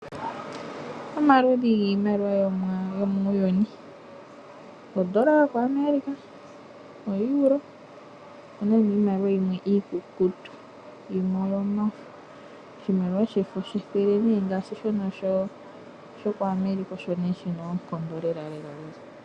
Omaludhi giimaliwa yomuuyuni ondola yo koAmerica, oEuro, niimaliwa yimwe iikukutu, yimwe oyo mafo. Oshimaliwa shefo shethele ngaashi shono sho koAmerica osho shina oonkondo lelalela.